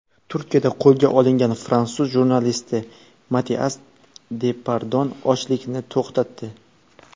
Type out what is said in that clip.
Turkiyada qo‘lga olingan fransuz jurnalisti Matias Depardon ochlikni to‘xtatdi.